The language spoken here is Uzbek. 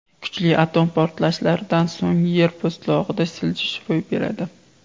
Kuchli atom portlashlaridan so‘ng yer po‘stlog‘ida siljish ro‘y beradi.